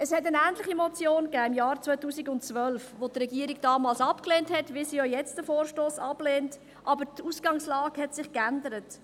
Im Gegensatz zu einer ähnlichen Motion im Jahr 2012 und der ablehnenden Antwort der Regierung damals hat sich die Ausgangslage mehrfach geändert.